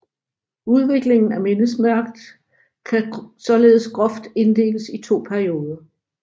Udviklingen af mindesmærket kan således groft inddeles i to perioder